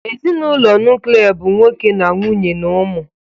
Ezinụlọ nuklia bụ nwoke na nwunye na ụmụ